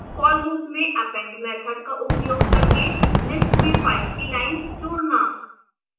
for loop में append method का उपयोग करके list में फाइल की लाइन्स जोड़ना